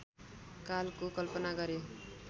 कालको कल्पना गरे